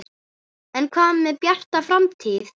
En hvað með Bjarta framtíð?